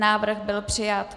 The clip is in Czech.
Návrh byl přijat.